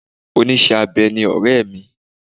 Oníṣẹ́-abẹ ni ọ̀rẹ́ mi.